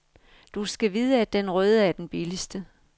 Du skal vide, at den røde er den billigste.